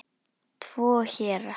Tvo héra